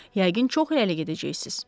Yəqin çox irəli gedəcəksiniz.